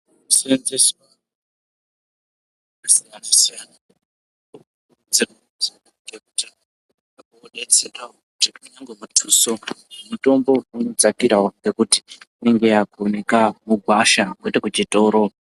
Senzeswa kwemitombo yakasiyasiyana detsera ngekuti inenge yodetserawo kunyange mutuso mutombo inodzakirawo ngekuti inenge yakuoneke mugwasha kwete kuchitoro.